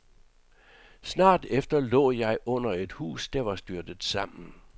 Snart efter lå jeg under et hus, der var styrtet sammen.